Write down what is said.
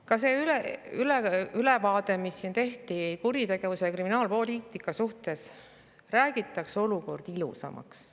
Ka selles ülevaates, mis siin tehti kuritegevusest ja kriminaalpoliitikast, räägiti olukord ilusamaks.